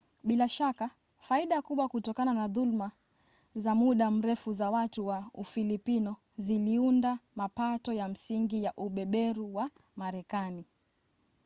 bila shaka faida kubwa kutokana na dhuluma za muda mrefu za watu wa ufilipino ziliunda mapato ya msingi ya ubeberu wa marekani